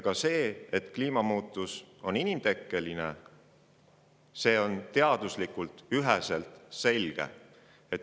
Ja see, et kliima soojenemine on inimtekkeline, on teaduslikult üheselt selge.